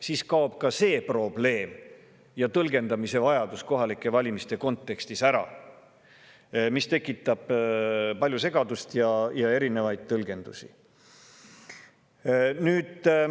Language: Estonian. Siis kaob kohalike valimiste kontekstis ära ka see probleem ja tõlgendamise vajadus, mis tekitab palju segadust ja erinevaid tõlgendusi.